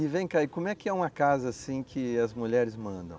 E vem cá, como é que é uma casa assim que as mulheres mandam?